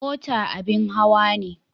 Mota abin hawa ne.